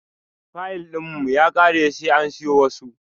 Fayil ɗin mu ya kare sai an siyo wasu.